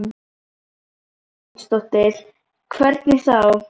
Sunna Sæmundsdóttir: Hvernig þá?